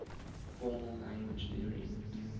formal language theory